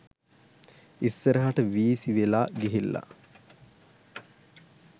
ඉස්සරහට වීසි වෙලා ගිහිල්ලා